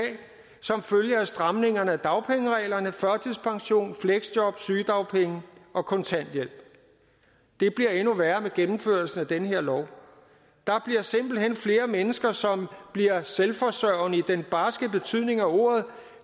som følge af stramningerne af dagpengereglerne førtidspension fleksjob sygedagpenge og kontanthjælp det bliver endnu værre med gennemførelsen af den her lov der bliver simpelt hen flere mennesker som bliver selvforsørgende i den barske betydning af ordet